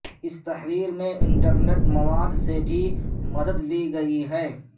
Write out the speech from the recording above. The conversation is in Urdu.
اس تحریر میں انٹر نیٹ مواد سے بھی مدد لی گئی ہے